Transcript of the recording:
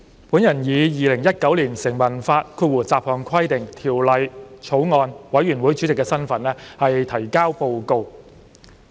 主席，我以《2019年成文法條例草案》委員會主席的身份提交報告。